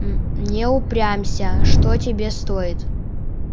не упрямься что тебе стоит плюнь да поцелуй у злод тьфу поцелуй у него ручку